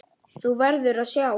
Þú verður að sjá!